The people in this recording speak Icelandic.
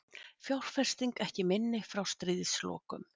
Fjárfesting ekki minni frá stríðslokum